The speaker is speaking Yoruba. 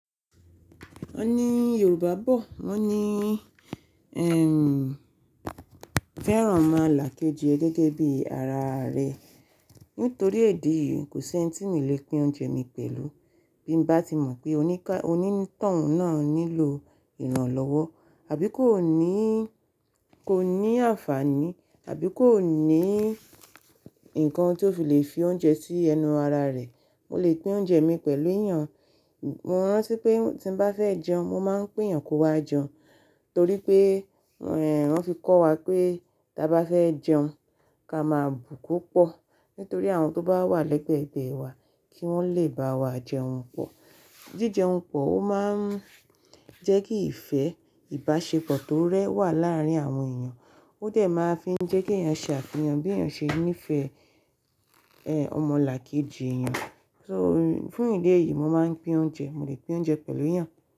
Wọ́n ní Yorùbá bọ̀, wọ́n ní, ẹm, fẹ́ràn ọmọlàkejì ẹ gẹ́gẹ́ bí ara rẹ. Nítorí edi yìí kò si ẹńitì mi o lè pín oúnjẹ mi pẹ̀lú. Bí m bá ti mọ̀ pé oní tọun náà nílò ìrànlọ́wọ́ àbí kò ní, kò ní àǹfààní, àbí kò ní nǹkan tí ó fi lè fi oúnjẹ sí ẹnu ara rẹ̀. Mo lè pín oúnjẹ mi pẹ̀lú èèyàn. Mo rántí pé tí n bá fẹ́ jẹun, mo máa ń pé èèyàn ko wá jẹun. Torí pé, ẹh, wọ́n fi kọ́ wa pé tí a bá fẹ́ jẹun, ka máa bù ko pọ̀. Nítorí àwọn tó bá wà lẹ́gbẹ̀gbẹ́ wà kí wọ́n lè bá wa jẹun pọ̀. Jíjẹun pọ̀ ó máa ń jẹ́ kí ìfẹ́, ìbáṣepọ̀ tó rẹ wà láàárín àwọn èèyàn. Ó dẹ̀ máa ń fi jẹ́ kí èèyàn ṣàfì hàn bí èèyàn ṣe ń nífẹ̀ẹ́, ẹ, ọmọlàkejì èèyàn. So, fún ìdí èyí mo máa ń pín oúnjẹ. Mo lè pín oúnjẹ pẹ̀lú èèyàn.